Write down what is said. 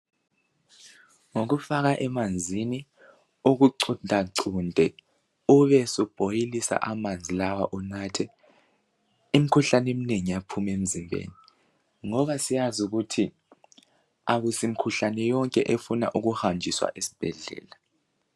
Ngokufaka emanzini, ukucuntacunte, ubesubhoyilisa amanzi lawa unathe. Imkhuhlane eminengi iyaphuma emzimbeni, ngoba siyazi ukuthi akusimkhuhlane yonke efuna ukuhanjiswa esibhedlela